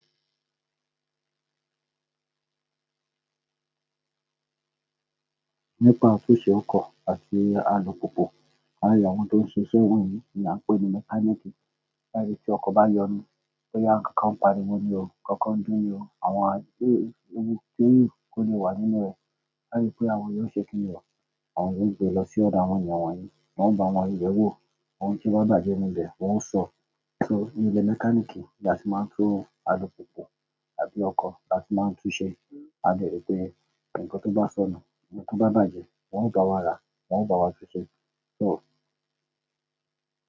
Nípa àtúnṣe ọkọ̀ àti alùpùpù, àwọn èèyàn tó ń ṣe iṣẹ́ wọ̀nyí ni a ń pè ní mechanic. Láyé tí ọkọ̀ bá yọnu, tó ya ńká ń pariwo níru, kọ́kọ́ ń dúró, àwọn ewú tó lè wà nínú rẹ̀, láyé pé àwọn yóò ṣe kíni rọ, àwọn yóò gbe lọ sí ọ̀dọ̀ àwọn èèyàn wọ̀nyí, wọ́n bá wọn yẹ̀wò, ohun tí ó bá bàjẹ́ nínú rẹ̀, wọn ó sọ, só níbi mechanic ni a sì máa ń tún alùpùpù àbí ọkọ̀ tó máa ń túṣe, a lè gbe nǹkan tó bá sọnù, nǹkan tó bá bàjẹ́, wọn ó bá wa rà, wọn ó bá wa túṣe, só.